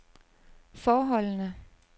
forholdene